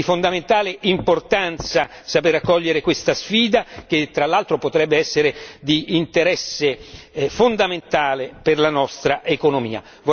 È di fondamentale importanza sapere accogliere questa sfida, che tra l'altro potrebbe essere di interesse fondamentale per la nostra economia.